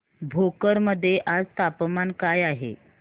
भोकर मध्ये आज तापमान काय आहे